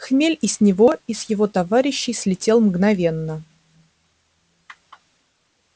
хмель и с него и с его товарищей слетел мгновенно